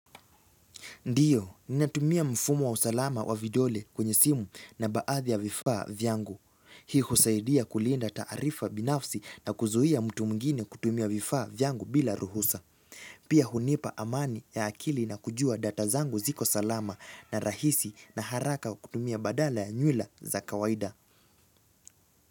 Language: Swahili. Ndiyo, ni natumia mfumo wa usalama wa vidole kwenye simu na baadhi ya vifaa vyangu. Hii husaidia kulinda taarifa binafsi na kuzuia mtu mwigine kutumia vifaa vyangu bila ruhusa. Pia hunipa amani ya akili na kujua data zangu ziko salama na rahisi na haraka kutumia badala ya nyula za kawaida.